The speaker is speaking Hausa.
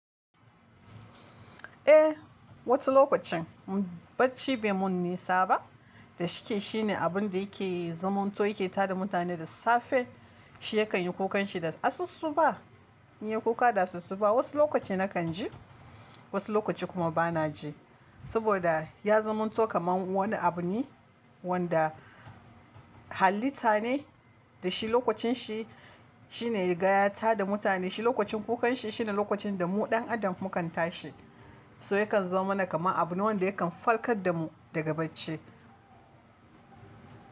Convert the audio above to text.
Eh, wasu lokacin bacci bai mun nisa ba da shike shine abun da yake zamanto yake tada mutane da safe, shi yakan yi kukan shi da asusuba, yin kuka da asusuba wasu lokaci nakan ji, wasu lokaci kuma bana ji. Saboda ya zamanto kamar wani abu ne wanda hallita ne da shi lokacin shi shine rigaya ta da mutane shi lokacin kukan shi shine lokacin da mu ɗan adam mukan tashi. So yakan zoma mana kama abu ne wandayakan farkar da mu daga bacci.